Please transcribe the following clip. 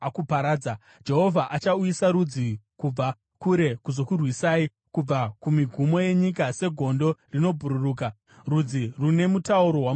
Jehovha achauyisa rudzi kubva kure kuzokurwisai, kubva kumigumo yenyika, segondo rinobhururuka, rudzi rune mutauro wamusinganzwisisi,